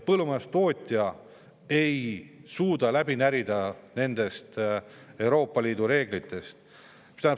Põllumajandustootja ei suuda läbi närida nendest Euroopa Liidu reeglitest.